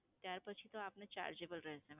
ત્યાર પછી તો આપને chargeable રહેશે.